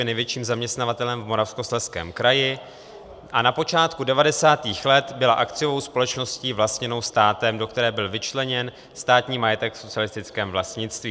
Je největším zaměstnavatelem v Moravskoslezském kraji a na počátku 90. let byla akciovou společností vlastněnou státem, do které byl vyčleněn státní majetek v socialistickém vlastnictví.